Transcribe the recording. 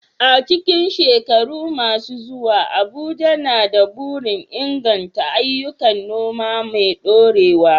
A cikin shekaru masu zuwa, Abuja na da burin inganta ayyukan noma mai dorewa.